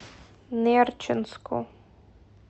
нерчинску